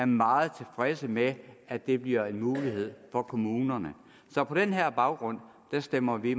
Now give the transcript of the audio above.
meget tilfredse med at det bliver en mulighed for kommunerne så på den her baggrund stemmer vi